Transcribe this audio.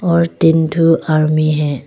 और तीन ठो आरमी है।